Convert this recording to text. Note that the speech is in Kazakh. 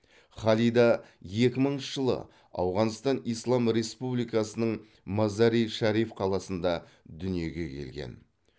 халида екі мыңыншы жылы ауғанстан ислам республикасының мазари шариф қаласында дүниеге келген